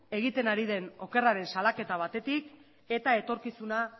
egiten ari den okerraren salaketa batetik eta etorkizuna